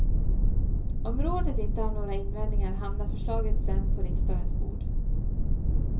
Om rådet inte har några invändningar, hamnar förslaget sedan på riksdagens bord.